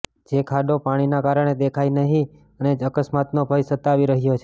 જે ખાડો પાણીના કારણે દેખાય નહિ અને અકસ્માતનો ભય સતાવી રહ્યો છે